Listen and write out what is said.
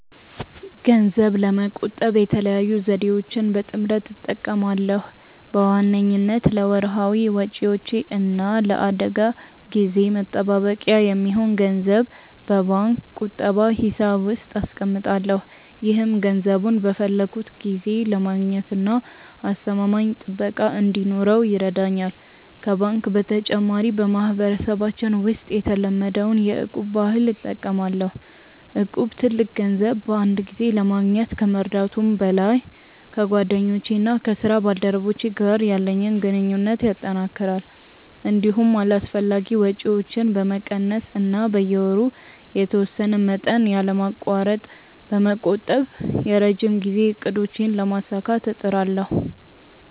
ገንዘብ ለመቆጠብ የተለያዩ ዘዴዎችን በጥምረት እጠቀማለሁ። በዋነኝነት ለወርሃዊ ወጪዎቼ እና ለአደጋ ጊዜ መጠባበቂያ የሚሆን ገንዘብ በባንክ ቁጠባ ሂሳብ ውስጥ አስቀምጣለሁ። ይህም ገንዘቡን በፈለግኩት ጊዜ ለማግኘትና አስተማማኝ ጥበቃ እንዲኖረው ይረዳኛል። ከባንክ በተጨማሪ፣ በማህበረሰባችን ውስጥ የተለመደውን የ'እቁብ' ባህል እጠቀማለሁ። እቁብ ትልቅ ገንዘብ በአንድ ጊዜ ለማግኘት ከመርዳቱም በላይ፣ ከጓደኞቼና ከስራ ባልደረቦቼ ጋር ያለኝን ግንኙነት ያጠናክራል። እንዲሁም አላስፈላጊ ወጪዎችን በመቀነስ እና በየወሩ የተወሰነ መጠን ያለማቋረጥ በመቆጠብ የረጅም ጊዜ እቅዶቼን ለማሳካት እጥራለሁ።